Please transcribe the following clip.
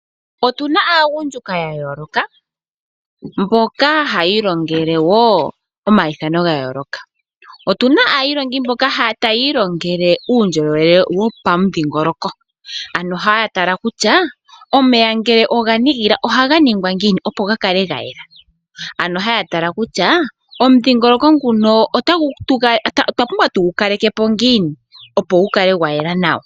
Otuna aagundja ya yooloka mboka haya ilongele wo omaithano ga yooloka. Otuna aailongi mboka taya ilongele uundjolowele wopamudhingoloko. Ano haya tala kutya omeya ngele oga nigila ohaga ningwa ngiini opo ya kale ga yela. Ano haya tala kutya omudhingoloko nguno otwa pumbwa tugu kaleke po ngiini opo gu kale gwa yela nawa.